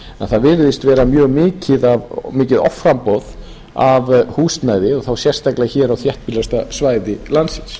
að það virðist vera mjög mikið offramboð af húsnæði og þá sérstaklega hér á þéttbýlasta svæði landsins